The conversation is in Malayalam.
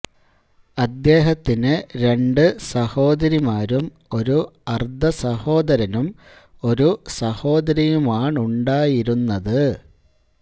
അദ്ദേഹത്തിന് രണ്ടു സഹോദരിമാരും ഒരു അർദ്ധ സഹോദരനും ഒരു സഹോദരിയുമാണുണ്ടായിരുന്നത്